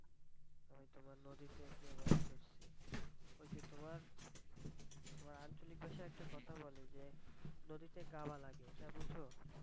হয়তোবা নদীতে গিয়ে মাছ ধরছি ওই যে তোমার, তোমার আঞ্চলিক ভাষায় একটা কথা বলে যে নদীতে গাওয়া লাগে এটা বুঝো?